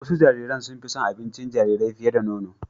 Wasu jariran sun fi son abincin jarirai fiye da nono